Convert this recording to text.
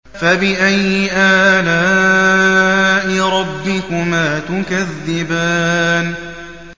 فَبِأَيِّ آلَاءِ رَبِّكُمَا تُكَذِّبَانِ